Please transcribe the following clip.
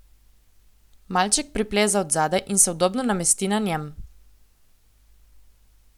Maček pripleza od zadaj in se udobno namesti na njem.